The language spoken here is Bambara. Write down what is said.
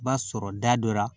I b'a sɔrɔ da dɔ la